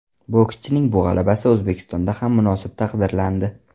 Bokschining bu g‘alabasi O‘zbekistonda ham munosib taqdirlandi.